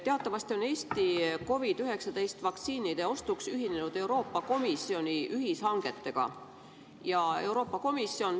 Teatavasti on Eesti COVID-19 vaktsiinide ostuks ühinenud Euroopa Komisjoni ühishangetega.